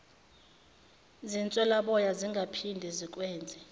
zinswelaboya zingaphinde zikwenze